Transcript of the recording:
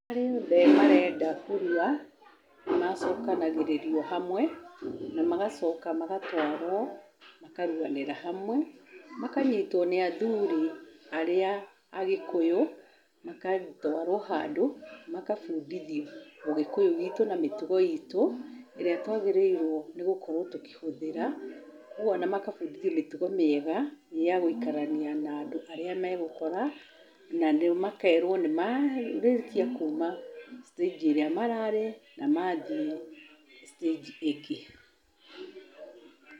Aria othe marenda kũrua nĩmacokanagĩrĩrio hamwe na magacoka magatwarwo makaruanĩra hamwe makanyitwo nĩ athuri arĩa agĩkũyũ magatwarwo handũ makabũndĩthio ũgĩkũyũ witũ na mĩtugo itũ ĩrĩa twagĩrĩirwo nĩ gũkorwo tũkĩhũthĩra kũu makabundithio mĩtugo mĩega ya gũikarania na andũ arĩa megũkora na makerwo nĩmarĩkia kuma stage ĩrĩa mararĩ na mathie stage ĩngĩ.